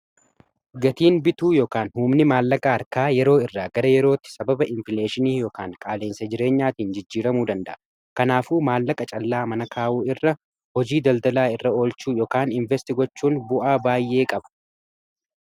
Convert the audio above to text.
Gatiin bituu ykaan humni maallaqa arkaa yeroo irraa gara yerootti sababa infleeshinii ykaan qaaleensa jireenyaatiin jijjiiramuu danda'a kanaafuu maallaqa callaa mana kaawuu irra hojii daldalaa irra olchuu ykan investigochuun bu'aa baay'ee qabu.